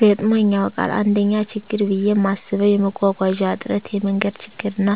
ገጥሞኝ ያዉቃል: 1ኛ :ችግር ብየ ማስበዉ የመጓጓዣ እጥረት የመንገድ ችግርና :